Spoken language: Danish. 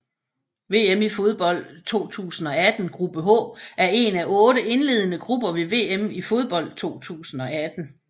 VM i fodbold 2018 gruppe H er en af otte indledende grupper ved VM i fodbold 2018